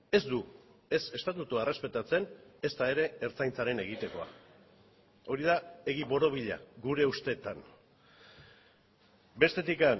ez du ez estatutua errespetatzen ezta ere ertzaintzaren egitekoa hori da egi borobila gure ustetan bestetik